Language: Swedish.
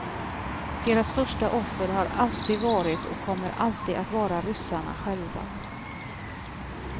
Deras första offer har alltid varit och kommer alltid att vara ryssarna själva.